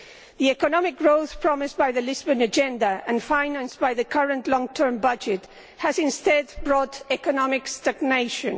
The economic growth promised by the Lisbon Agenda and financed by the current long term budget has instead brought economic stagnation.